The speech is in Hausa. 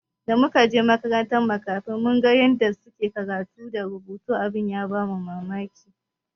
Da muka je makarantar makafi mun ga yanda suke karatu da rubutu abin ya bamu mamaki.